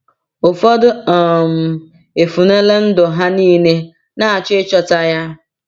Ụfọdụ um efunela ndụ ha niile na-achọ ịchọta ya.